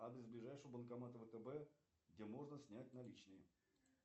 адрес ближайшего банкомата втб где можно снять наличные